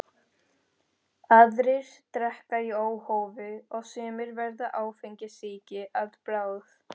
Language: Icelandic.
Aðrir drekka í óhófi og sumir verða áfengissýki að bráð.